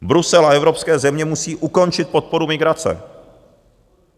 Brusel a evropské země musí ukončit podporu migrace.